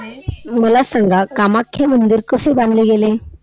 मला सांगा, कामाख्या मंदिर कसे बांधले गेले?